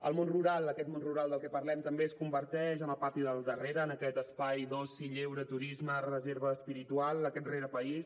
el món rural aquest món rural del que parlem també es converteix en el pati del darrere en aquest espai d’oci lleure turisme reserva espiritual aquest rerepaís